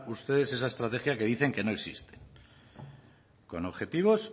ustedes esa estrategia que dicen que no existe con objetivos